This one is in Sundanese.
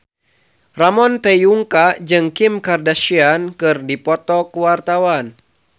Ramon T. Yungka jeung Kim Kardashian keur dipoto ku wartawan